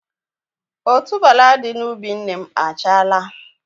Otuboala dị na ubi nne m achala